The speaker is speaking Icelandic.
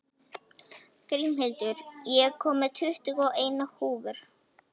Grímhildur, ég kom með tuttugu og eina húfur!